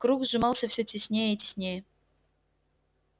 круг сжимался всё теснее и теснее